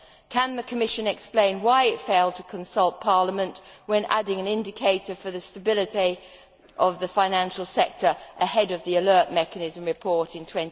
Can the Commission explain why it failed to consult Parliament when adding an indicator for the stability of the financial sector ahead of the alert mechanism report in